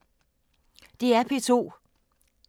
DR P2